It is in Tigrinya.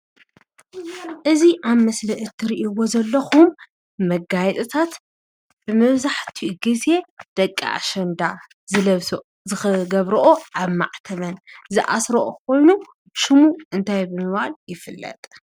እዚ ኣብ ምስሊ እትሪእዎ ዘለኹም መጋየፅታት ብመብዛሕቲኡ ጊዜ ደቂ ኣሸንዳ ዝለብስኦ ዝገብርኦ ኣብ ማዕተበን ዝኣስርኦ ኾይኑ ሽሙ እንታይ ብምባል ይፍለጥ?